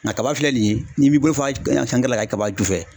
Nka kaba filɛ nin ye n'i m'i bɔlɔ fa la ka kɛ kaba ju fɛ.